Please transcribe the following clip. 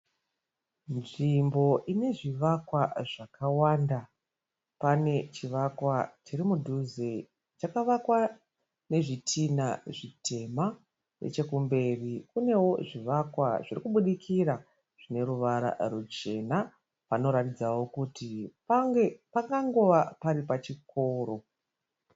Nzvimbo ine zvivakwa zvakawanda. Pane chivakwa chiri mudhuze chakavakwa nezvitinha zvitema. Nechekumberi kuneo zvivakwa zviri kubudikira zvine ruvara ruchena. Panoratidzao kuti pangangova pari pachikóro.